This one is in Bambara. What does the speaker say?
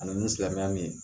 Ani ni silamɛya min ye